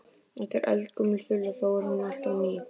Þetta er eldgömul þula þó er hún alltaf ný.